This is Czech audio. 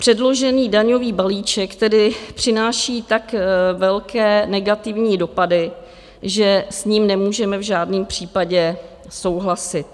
Předložený daňový balíček tedy přináší tak velké negativní dopady, že s ním nemůžeme v žádném případě souhlasit.